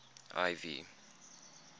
ivy